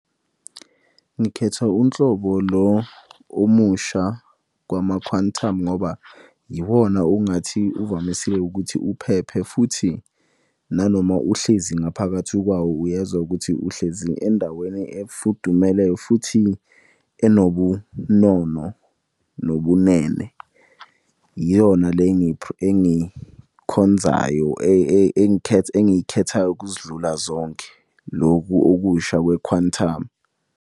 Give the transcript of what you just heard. Ngikhetha unhlobo lo omusha kwama-Quantum ngoba yiwona ongathi uvamise ukuthi uphephe futhi nanoma uhlezi ngaphakathi kwawo uyezwa ukuthi uhlezi endaweni efudumele futhi enobunono nobunene. Yiyona le engikhonzayo engiyikhethayo ukuzidlula zonke, loku okusha kwe-Quantum.